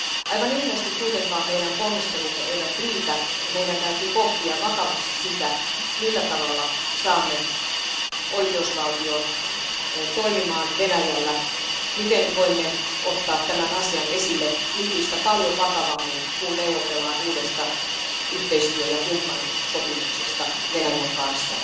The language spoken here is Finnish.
Aivan ilmeisesti meidän ponnistelumme eivät kuitenkaan riitä ja meidän täytyy pohtia vakavasti sitä, millä tavalla saamme oikeusvaltion toimimaan Venäjällä, miten voimme ottaa tämän asian esille nykyistä paljon vakavammin, kun neuvotellaan uudesta yhteistyö ja kumppanuussopimuksesta Venäjän kanssa.